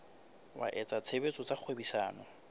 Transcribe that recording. wa etsa tshebetso tsa kgwebisano